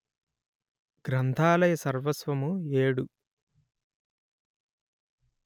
గ్రంథాలయ సర్వస్వము ఏడు